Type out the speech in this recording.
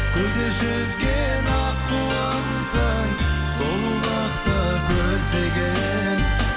көлде жүзген аққуымсың сұлулықты көздеген